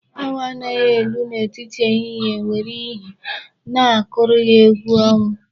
Awọ na-amali elu n'etiti ehihie nwere ihe na-akụrụ ya egwu ọnwụ.